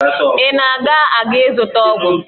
Ị na-aga aga ịzụta ọgwụ?